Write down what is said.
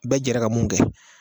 Bɛɛ jɛra ka mun kɛ